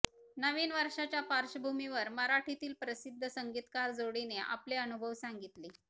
नवीन वर्षाच्या पार्श्वभूमीवर मराठीतील प्रसिद्ध संगीतकार जोडीने आपले अनुभव सांगितले